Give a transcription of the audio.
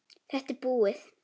Þetta er búið.